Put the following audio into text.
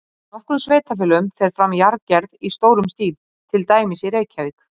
Í nokkrum sveitarfélögum fer fram jarðgerð í stórum stíl, til dæmis í Reykjavík.